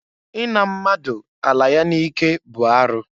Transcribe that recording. I na mmadụ ala ya n'ike bụ arụ.